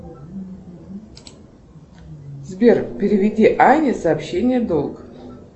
сбер переведи ане сообщение долг